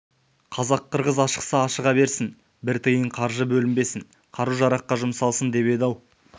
қазақ-қырғыз ашықса ашыға берсін бір тиын қаржы бөлінбесін қару-жараққа жұмсалсын деп еді-ау